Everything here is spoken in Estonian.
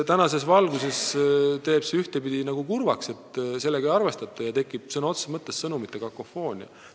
Tänases valguses teeb ühtpidi kurvaks see, et sellega ei arvestata ja tekib sõna otseses mõttes sõnumite kakofoonia.